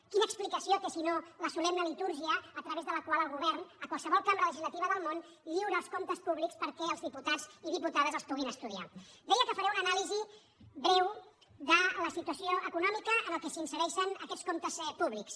quina explicació té si no la solemne litúrgia a través de la qual el govern a qualsevol cambra legis·lativa del món lliura els comptes públics perquè els diputats i diputades els puguin estudiar deia que faré una anàlisi breu de la situació econò·mica en què s’insereixen aquests comptes públics